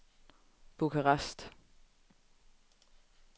Bukarest